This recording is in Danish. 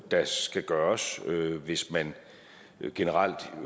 der skal gøres hvis man generelt